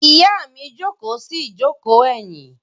Ìyá mi jókòó sí ìjókòó ẹ̀yìn.